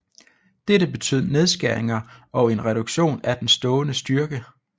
Dette betød nedskæringer og en reduktion af den stående styrke